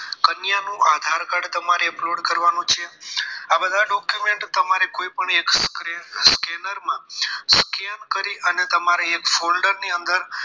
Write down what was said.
કન્યાનું Aadhaar card તમારે upload કરવાનું છે આ બધા document તમારે કોઈ એક scanner માં scan કરી અને તમારે folder ની અંદર